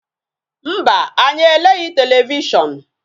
Mba, anyi eleghị televishon